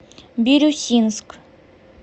бирюсинск